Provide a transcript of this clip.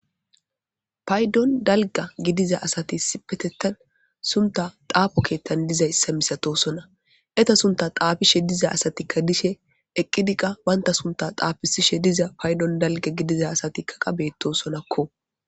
Paydon dalga gidiza asati issipetettan sunta xaafo keettan dizayssa misatosona eta sunta xaafishe diza asatikka dishe eqqidikka banta sunta xaafisishe diza paydon dalga gidiza asatikka qa betosonakko.